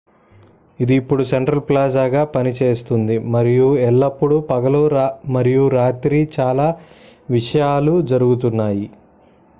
ఇది ఇప్పుడు సెంట్రల్ ప్లాజాగా పనిచేస్తుంది మరియు ఎల్లప్పుడూ పగలు మరియు రాత్రి చాలా విషయాలు జరుగుతున్నాయి